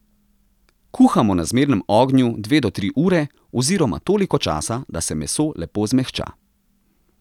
Kuhamo na zmernem ognju dve do tri ure oziroma toliko časa, da se meso lepo zmehča.